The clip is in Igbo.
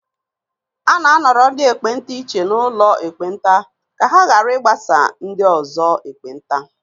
A na-anọrọ ndị ekpenta iche n'ụlọ ekpenta ka ha ghara ịgbasa ndị ọzọ ekpenta